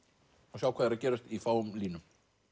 og sjá hvað er að gerast í fáum línum